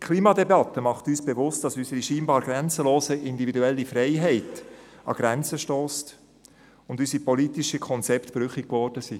Die Klimadebatte macht uns bewusst, dass unsere scheinbar grenzenlose individuelle Freiheit an Grenzen stösst und unsere politischen Konzepte brüchig geworden sind.